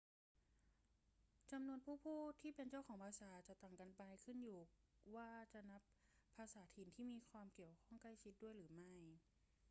จำนวนผู้พูดที่เป็นเจ้าของภาษาจะต่างกันไป ขึ้นอยู่กับว่าจะนับภาษาถิ่นที่เกี่ยวข้องอย่างใกล้ชิดด้วยหรือไม่